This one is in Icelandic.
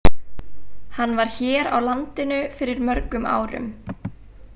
Hann var hér á landinu fyrir mörgum árum.